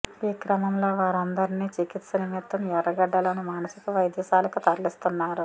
ఈ క్రమంలో వారందరిని చికిత్స నిమిత్తం ఎర్రగడ్డలోని మానసిక వైద్యశాలకు తరలిస్తున్నారు